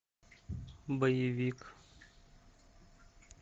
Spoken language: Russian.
боевик